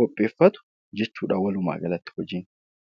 qopheeffatu jechuudha walumaagalatti hojiin.